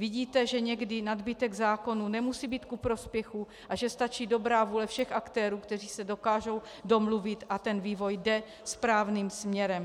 Vidíte, že někdy nadbytek zákonů nemusí být ku prospěchu a že stačí dobrá vůle všech aktérů, kteří se dokážou domluvit, a ten vývoj jde správným směrem.